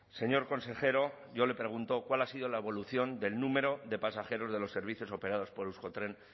señor consejero yo le pregunto cuál ha sido la evolución del número de pasajeros de los servicios operados por euskotren